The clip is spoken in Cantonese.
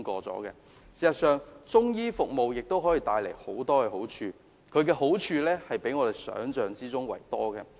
事實上，中醫服務可以帶來的好處，遠較我們想象的多。